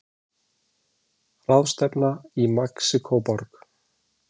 Ráðstefna í Mexíkóborg.